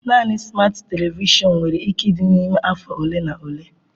Naanị smat televishọn nwere ike ịdị n'ime afọ ole na ole.